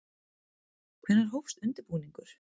Hvenær hófst undirbúningur?